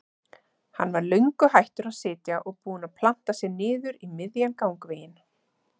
Hann var löngu hættur að sitja og búinn að planta sér niður í miðjan gangveginn.